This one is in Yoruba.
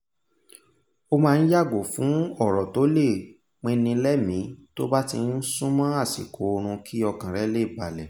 ó máa n yàgò fun ọ̀rọ̀ tó le pinnilẹ́mì tó bá ti súnmọ́ àṣikò oorun kí ọkàn rẹ̀ le balẹ̀